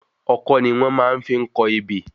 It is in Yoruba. Ọkọ́ ni wọ́n fi máa ń kọ ebè.